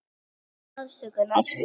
Páfi biðst afsökunar